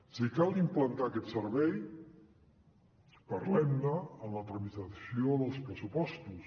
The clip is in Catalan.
si cal implantar aquest servei parlem ne en la tramitació dels pressupostos